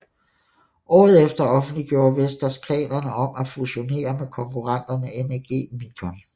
Året efter offentliggjorde Vestas planerne om at fusionere med konkurrenten NEG Micon